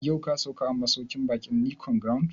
Yau ka sauka a masauƙin baƙin Nicon Grand?